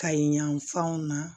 Kayi yan fanw na